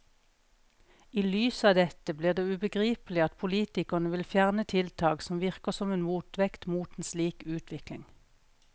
I lys av dette blir det ubegripelig at politikerne vil fjerne tiltak som virker som en motvekt mot en slik utvikling.